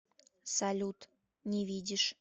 салют не видишь